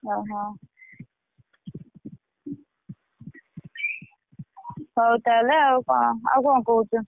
ଓହୋ! ହଉ ତାହେଲେ ଆଉ କଁ ଆଉ କଁ କହୁଛୁ?